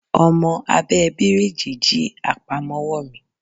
Ọmọ abẹ́ẹ bíríìjì jí àpamọ́wọ́ mi